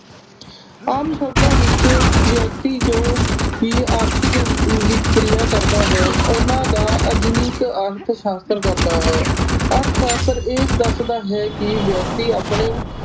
ਆਮ ਸ਼ਬਦਾਂ ਵਿਚ ਵਿਅਕਤੀ ਜੋ ਕਿ ਆਰਥਿਕ ਵਿਕਰੀਆਂ ਕਰਦਾ ਹੈ ਓਹਨਾ ਦਾ ਆਧੁਨਿਕ ਅਰਥ ਸ਼ਾਸਤਰ ਕਰਦਾ ਹੈ। ਅਰਥ ਸ਼ਾਸਤਰ ਇਹ ਦੱਸਦਾ ਹੈ ਕਿ ਵਿਅਕਤੀ ਆਪਣੇ